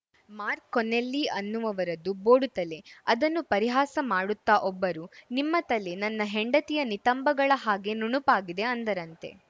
mark Connelly ಅನ್ನುವವರದ್ದು ಬೋಡು ತಲೆ ಅದನ್ನು ಪರಿಹಾಸ ಮಾಡುತ್ತಾ ಒಬ್ಬರು ನಿಮ್ಮ ತಲೆ ನನ್ನ ಹೆಂಡತಿಯ ನಿತಂಬಗಳ ಹಾಗೆ ನುಣುಪಾಗಿದೆ ಅಂದರಂತೆ